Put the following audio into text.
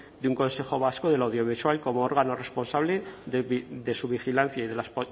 de un consejo vasco de lo audiovisual como órgano responsable de su vigilancia y